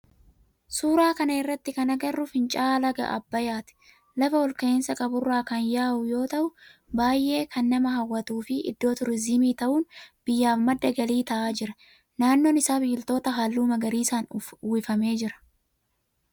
Suuraa kana irratti kan agarru finca'aa laga abbayyaati. Lafa olka'iinsa qaburraa kan yaa'uu yoo ta'u baayyeen kan nama hawwatuu fi iddoo turizimii ta'un biyyaaf maddi galii ta'a jira. Naannoon isaa biqiltoota halluu magarisaan uwifamee jira.